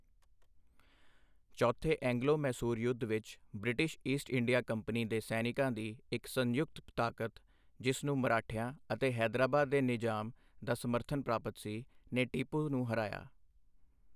ਚੌਥੇ ਐਂਗਲੋ ਮੈਸੂਰ ਯੁੱਧ ਵਿੱਚ, ਬ੍ਰਿਟਿਸ਼ ਈਸਟ ਇੰਡੀਆ ਕੰਪਨੀ ਦੇ ਸੈਨਿਕਾਂ ਦੀ ਇੱਕ ਸੰਯੁਕਤ ਤਾਕਤ, ਜਿਸ ਨੂੰ ਮਰਾਠਿਆਂ ਅਤੇ ਹੈਦਰਾਬਾਦ ਦੇ ਨਿਜ਼ਾਮ ਦਾ ਸਮਰਥਨ ਪ੍ਰਾਪਤ ਸੀ, ਨੇ ਟੀਪੂ ਨੂੰ ਹਰਾਇਆ।